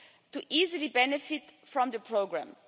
to easily benefit from the programme.